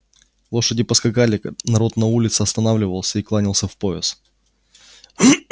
лошади поскакали народ на улице останавливался и кланялся в пояс